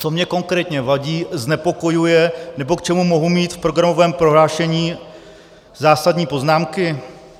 Co mně konkrétně vadí, znepokojuje nebo k čemu mohu mít v programovém prohlášení zásadní poznámky?